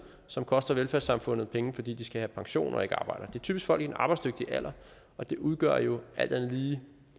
som koster velfærdssamfundet penge fordi de skal have pension og ikke arbejder det er typisk folk i den arbejdsdygtige alder og det udgør jo alt andet lige